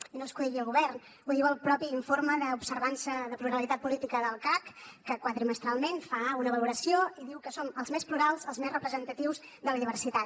i no és que ho digui el govern ho diu el propi informe d’observança de pluralitat política del cac que quadrimestralment en fa una valoració i diu que som els més plurals els més representatius de la diversitat